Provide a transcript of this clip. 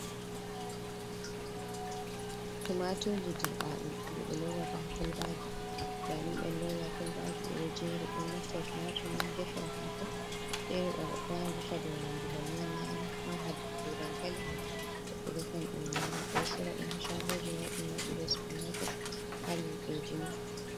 Tumaturji dirɓa ɗum jei ɓe lowata ha kolbaji. Den ɓelowi ha kolbaji ɓeɗo jeri. Ɓeɗo naftira tumatur man defira hako. Fere goɗɗo wawan rufa banni nyama. Ha nder dankali goɗɗo wawan rufa nyama. Ɓeɗo sora ɗum ha shagoji mauɗi mauɗi be supamaket ɓe luɓeji.